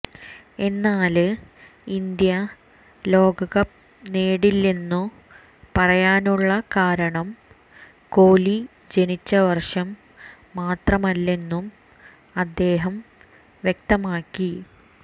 എന്നാല് ഇന്ത്യ ലോകകപ്പ് നേടില്ലെന്നു പറയാനുള്ള കാരണം കോലി ജനിച്ച വര്ഷം മാത്രമല്ലെന്നും അദ്ദേഹം വ്യക്തമാക്കി